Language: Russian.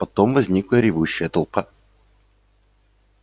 потом возникла ревущая толпа